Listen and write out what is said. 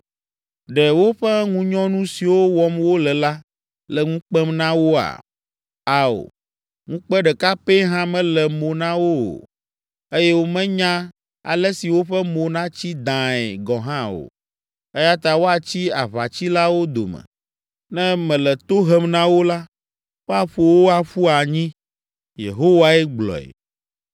Ɖe woƒe ŋunyɔnu siwo wɔm wole la, le ŋu kpem na woa? Ao, ŋukpe ɖeka pɛ hã mele mo na wo o, eye womenya ale si woƒe mo natsi dãae gɔ̃ hã o. Eya ta woatsi aʋatsilawo dome. Ne mele to hem na wo la, woaƒo wo aƒu anyi.” Yehowae gblɔe.